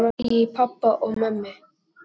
Svo heyri ég í pabba og mömmu.